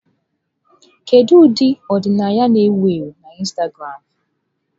Kedu ụdị ọdịnaya na-ewu ewu na Instagramụ?